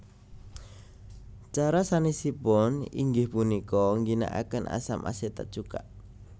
Cara sanesipun inggih punika ngginakaken asam asetat cuka